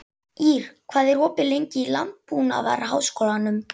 Ýr, hvað er opið lengi í Landbúnaðarháskólanum?